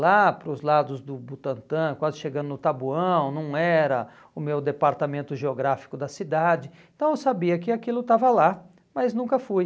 lá para os lados do Butantã, quase chegando no Taboão, não era o meu departamento geográfico da cidade, então eu sabia que aquilo estava lá, mas nunca fui.